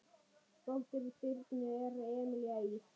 Dóttir Birnu er Emelía Ýr.